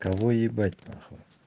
кого ебать нахуй